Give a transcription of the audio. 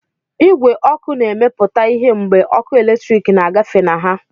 Igwe ọkụ na-emepụta ìhè mgbe ọkụ eletrik na-agafe na ha